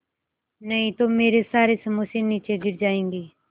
नहीं तो मेरे सारे समोसे नीचे गिर जायेंगे